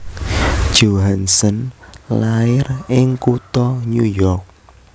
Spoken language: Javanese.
Johansson lair ing kutha New York